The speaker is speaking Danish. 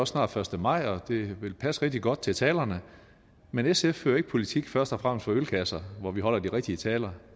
snart første maj og det vil passe rigtig godt til talerne men sf fører ikke politik først og fremmest fra ølkasser hvor vi holder de rigtige taler